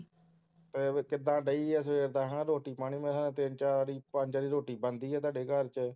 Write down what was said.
ਕਿੱਦਾਂ ਡੇਈ ਹੈ ਸਵੇਰ ਦਾ ਹੈ ਨਾ ਰੋਟੀ ਪਾਣੀ ਮੈਂ ਕਿਹਾ ਤਿੰਨ ਚਾਰ ਵਾਰੀ ਪੰਜ ਵਾਰੀ ਰੋਟੀ ਬਣਦੀ ਹੈ ਤੁਹਾਡੇ ਘਰ ਚ